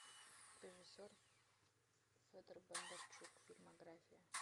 режиссер федор бондарчук фильмография